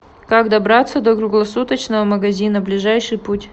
как добраться до круглосуточного магазина ближайший путь